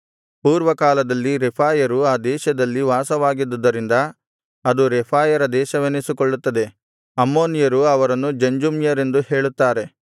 ಪೂರ್ವಕಾಲದಲ್ಲಿ ರೆಫಾಯರು ಆ ದೇಶದಲ್ಲಿ ವಾಸವಾಗಿದ್ದುದರಿಂದ ಅದು ರೆಫಾಯರ ದೇಶವೆನಿಸಿಕೊಳ್ಳುತ್ತದೆ ಅಮ್ಮೋನಿಯರು ಅವರನ್ನು ಜಂಜುಮ್ಯರೆಂದು ಹೇಳುತ್ತಾರೆ